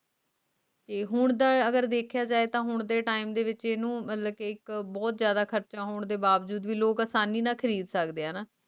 ਤੇ ਹੁਣ ਦਾ ਜਯਾ ਤੇ time ਵਿਚ ਇਸ ਨੂੰ ਖਰਚਾ ਭੀ ਆਸਾਨੀ ਨਾਲ ਖਰੀਦ ਸਕਦੇ ਹੈ